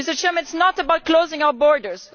It is not about closing our borders.